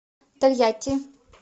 тольятти